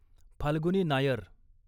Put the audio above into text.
Falguni Nair